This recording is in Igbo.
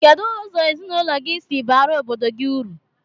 Kedu ụzọ ezinụlọ gi si bara obodo gi uru?